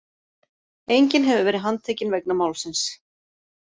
Enginn hefur verið handtekinn vegna málsins